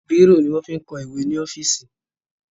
Bírò ní wọn ń fi kọ ìwẹ́ ní ọ́fíìsì.